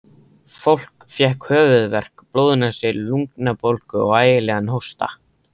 Fólk fékk höfuðverk, blóðnasir, lungnabólgu og ægilegan hósta.